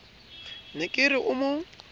ne ke re o mo